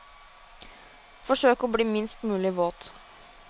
Forsøk å bli minst mulig våt.